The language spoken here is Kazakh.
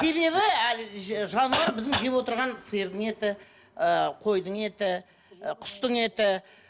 себебі жануар біздің жеп отырған сиырдың еті ы қойдың еті ы құстың еті